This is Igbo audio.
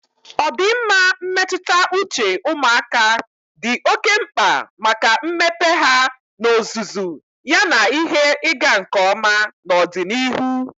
Ọdịmma mmetụta uche ụmụaka dị oke mkpa maka mmepe ha n'ozuzu yana ihe ịga nke ọma n'ọdịnihu.